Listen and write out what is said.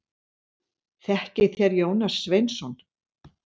Þekkið þér Jónas Sveinsson?